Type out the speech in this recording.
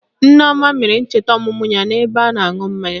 Nneoma mere ncheta ọmụmụ ya n'ebe a na-aṅụ mmanya